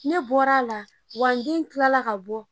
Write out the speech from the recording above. Ne bɔra a la, wa n den tila la ka bɔ.